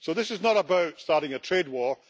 This is not about starting a trade war